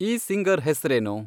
ಈ ಸಿಂಗರ್ ಹೆಸ್ರೇನು